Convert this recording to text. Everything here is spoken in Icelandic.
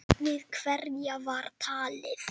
Við hverja var talað?